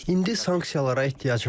İndi sanksiyalara ehtiyac var.